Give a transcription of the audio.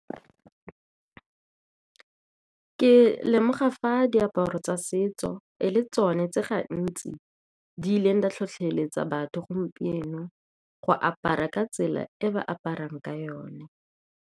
Ke lemoga fa diaparo tsa setso e le tsone tse gantsi di ileng di tlhotlheletsa batho gompieno go apara ka tsela e ba aparang ka yone.